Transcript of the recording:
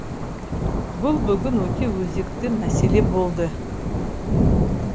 бұл бүгін өте өзекті мәселе болды